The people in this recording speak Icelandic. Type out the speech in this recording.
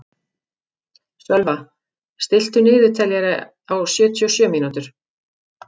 Sölva, stilltu niðurteljara á sjötíu og sjö mínútur.